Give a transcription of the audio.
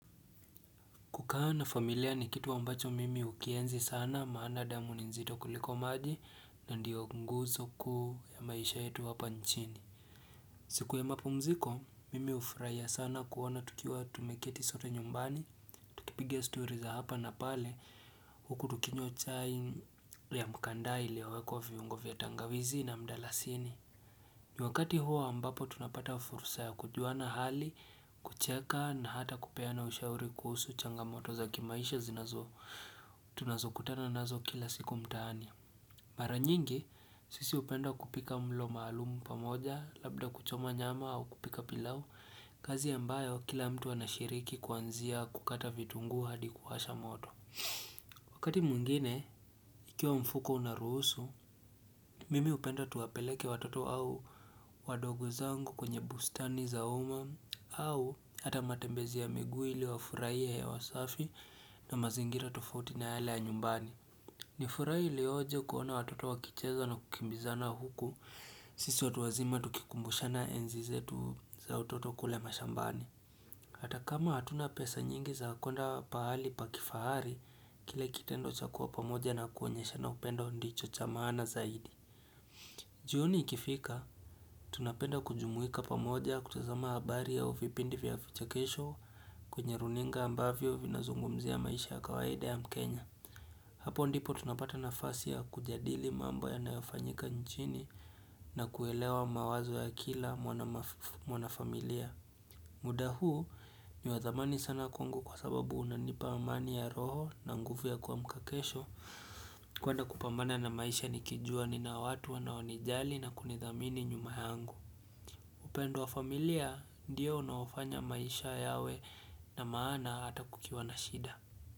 Kukaa na familia ni kitu ambacho mimi ukienzi sana maana damu ni nzito kuliko maji na ndio nguzo ku ya maisha yetu hapa nchini. Siku ya mapumziko, mimi ufurahia sana kuoana tukiwa tumeketi zote nyumbani, kipigia story hapa na pale huku tukinywa chai ya mkandaili iliyowekwa viungo vya tangawizi na mdalasini. Ni wakati huo ambapo tunapata fursa ya kujua na hali, kucheka na hata kupeana ushauri kuhusu changamoto za kimaisha zinazo tunazokutana nazo kila siku mtaani. Mara nyingi, sisi upenda kupika mlo maalumu pamoja labda kuchoma nyama au kupika pilau, kazi yambayo kila mtu anashiriki kuanzia kukata vitungu hadi kuwasha moto. Wakati mwingine, ikiwa mfuko unarusu, mimi upenda tuwapeleke watoto au wadogo zangu kwenye bustani za humu au hata matembezi ya miguu ili wafuraie hewa safi na mazingira tofauti na yale ya nyumbani. Nifurai ilioje kuona watoto wakicheza na kukimbizana huku, sisi watu wazima tukikumbushana enzi zetu za utoto kule mashambani. Hata kama hatuna pesa nyingi za kwenda pahali pakifahari, kile kitendo cha kuwa pamoja na kuonyesha na upendo ndicho cha maana zaidi. Jioni ikifika, tunapenda kujumuika pamoja kutazama habari au vipindi vya vichekesho kwenye runinga ambavyo vinazungumzi ya maisha ya kawaida ya mkenya. Hapo ndipo tunapata nafasi ya kujadili mambo yanayofanyika nchini na kuelewa mawazo ya kila mwana familia. Muda huu ni wadhamani sana kwangu kwa sababu unanipa amani ya roho na nguvu ya kuamka kesho kwenda kupamana na maisha nikijua ninao watu wanawanijali na kunidhamini nyumahangu upendo wa familia ndio unawafanya maisha yawe na maana hata kukiwa na shida.